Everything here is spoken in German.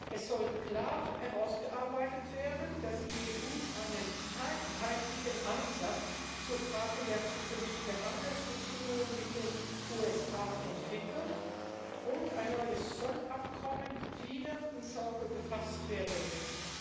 Es sollte klar herausgearbeitet werden, dass die EU einen einheitlichen Ansatz zu Fragen der zukünftigen Handelsbeziehungen mit den USA entwickelt und ein neues Zollabkommen wieder ins Auge gefasst werden muss.